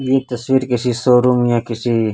यह तस्वीर किसी शोरूम या किसी--